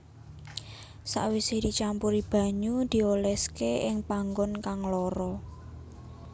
Sawise dicampuri banyu dioleske ing panggon kang lara